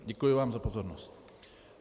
Děkuji vám za pozornost.